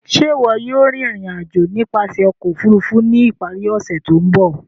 Ṣe iwọ yóò rin irin-ajo nipasẹ ọkọ ofurufu ni ipari ose to nbọ?